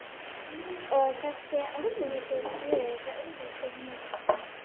Og þessi áttaviti er Guð, stingur hún inn í.